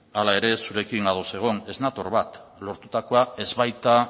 hala ere zurekin ados egon ez nator bat lortutakoa ez baita